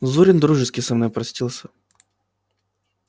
зурин дружески со мною простился